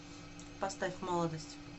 поставь молодость